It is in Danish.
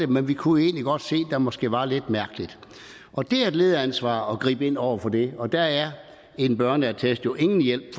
men vi kunne egentlig godt se at der måske var noget lidt mærkeligt og det er et lederansvar at gribe ind over for det og der er en børneattest jo ingen hjælp